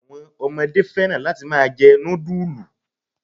Àwọn ọmọdé fẹ́ràn láti máa jẹ núdúlù